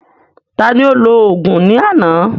Taani ó lò òògùn ní àná?